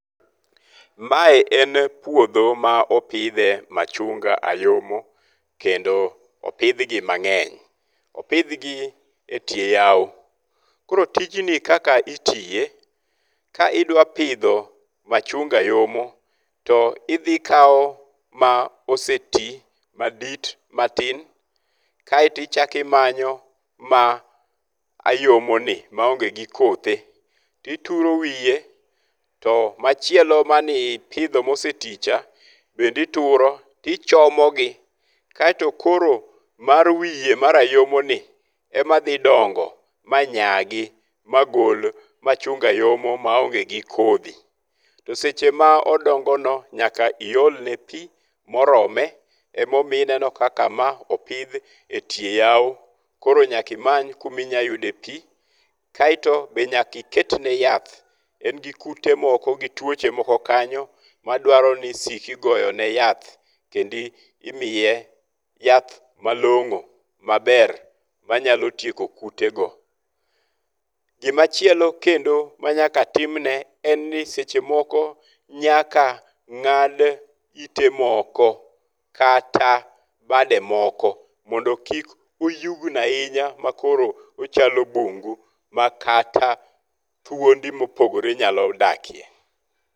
Mae en puodho ma opidhe machunga ayomo. Kendo opidh gi mang'eny. Opidhgi e tie yawo. Koro tijni kaka itiye, ka idwa pidho machunga ayomo to idhi kawo ma oseti madit matin kaeto ichako imanyo ma ayomo ni, ma onge gi kothe tituro wiye. To machielo mane ipidho moseti cha bende ituro to ichomo gi. kaeto koro mar wiye mar ayomo ni ema dhi dongo ma nyagi ma gol machunga ayomo maonge gi kodhi. To seche ma odongo no nyaka iolne pi morome. Emomiyo ineno kaka ma opidh e tie yawo. Koro nyaka imany kuma inya yude pi. Kaeto be nyaka iket ne yath. En gi kute moko gi tuoche moko kanyo ma dwaro ni isik igoyone yath kendo imiye yath malong'o maber manyalo tieko kute go. Gimachielo kendo manyaka timne en ni seche moko nyaka ng'ad ite moko kata bade moko mondo kik oyugno ahinya ma koro ochalo bungu ma kata thuondi mopogore nyalo dakie.